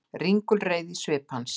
Ringulreið í svip hans.